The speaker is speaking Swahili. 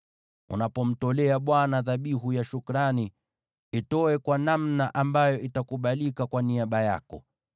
“Unapomtolea Bwana dhabihu ya shukrani, itoe kwa namna ambayo itakubalika kwa niaba yako.